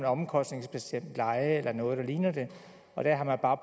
omkostningsbestemt leje eller noget der ligner det og der har man bare